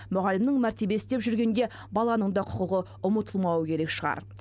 мұғалімнің мәртебесі деп жүргенде баланың да құқығы ұмытылмауы керек шығар